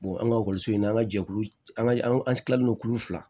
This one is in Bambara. an ka ekɔliso in na an ka jɛkulu an ka an kila lo kulu fila